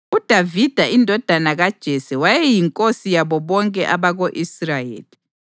UDavida indodana kaJese wayeyinkosi yabo bonke abako-Israyeli.